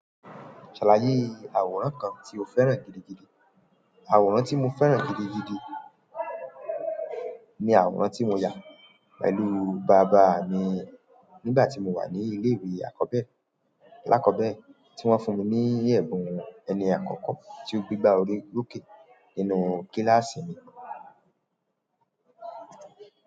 Ṣàlàyé àwòrán kan tí o fẹ́ràn gidigidi. Àwòrán tí mo fẹ́ràn gidigidi ni àwòrán tí mo yà pẹ̀lú bàbá mi nígbà tí mo wà ní ilé-ìwé alákọ̀ọ́bẹ̀rẹ̀, tí wọ́n fún mi ní ẹ̀bùn ẹni àkọ́kọ́ tí ó gbégbá orí lóke nínú kíláàsì mi.